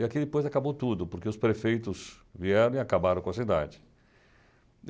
E aqui depois acabou tudo, porque os prefeitos vieram e acabaram com a cidade.